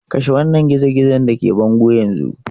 Kashe wannan gizo-gizon da ke bango yanzu!